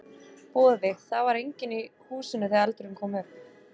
Boði: Það var enginn í húsinu þegar eldurinn kom upp?